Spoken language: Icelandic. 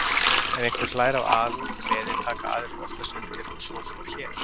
Ef einhver hlær af alúð og gleði, taka aðrir oftast undir og svo fór hér.